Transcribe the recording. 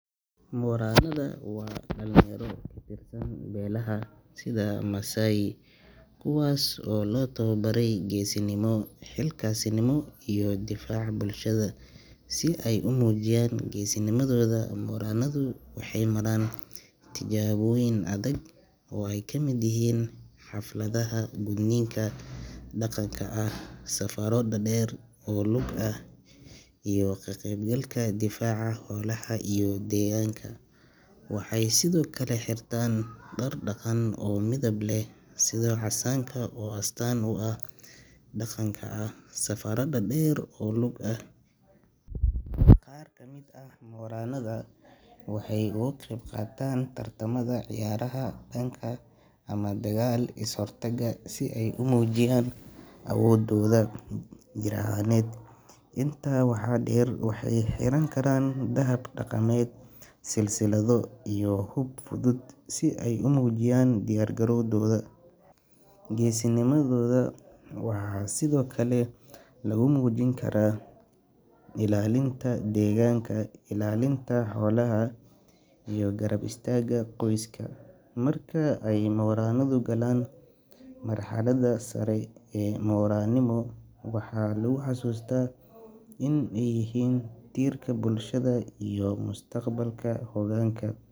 Moranada waa dhalinyaro ka tirsan beelaha sida Maasai kuwaas oo loo tababaro geesinimo, xilkasnimo iyo difaaca bulshada. Si ay u muujiyaan geesinimadooda, moranadu waxay maraan tijaabooyin adag oo ay ka mid yihiin xafladaha gudniinka dhaqanka ah, safarro dhaadheer oo lug ah, iyo ka qaybgalka difaaca xoolaha iyo deegaanka. Waxay sidoo kale xirtaan dhar dhaqan oo midab leh, sida casaanka, oo astaan u ah dhiirranaan iyo diyaar garow dagaal. Qaar ka mid ah moranada waxay uga qaybqaataan tartamada ciyaaraha dhaqanka ama dagaal-is-hortaagga si ay u muujiyaan awoodooda jir ahaaneed. Intaa waxaa dheer, waxay xiran karaan dahab dhaqameed, silsilado, iyo hub fudud si ay u muujiyaan diyaar garowgooda. Geesinimadooda waxaa sidoo kale lagu muujin karaa ilaalinta deegaanka, ilaalinta xoolaha iyo garab istaagga qoyska. Marka ay moranadu galaan marxladda sare ee moranimo, waxaa lagu xusuustaa in ay yihiin tiirka bulshada iyo mustaqbalka hoggaanka.